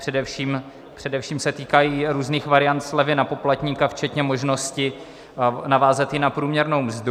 Především se týkají různých variant slevy na poplatníka včetně možnosti navázat ji na průměrnou mzdu.